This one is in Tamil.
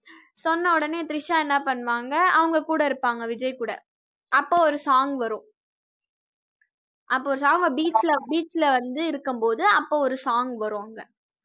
சொன்ன உடனே திரிஷா என்ன பண்ணுவாங்க அவங்க கூட இருப்பாங்க விஜய் கூடஅப்ப ஒரு song வரும் அப்ப ஒரு song அ beach ல beach ல வந்து இருக்கும்போது அப்ப ஒரு song வரும் அங்க